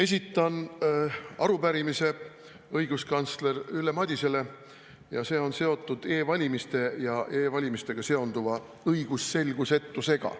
Esitan arupärimise õiguskantsler Ülle Madisele ja see on seotud e-valimiste ja e-valimistega seonduva õigusselgusetusega.